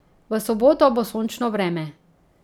V soboto bo sončno vreme.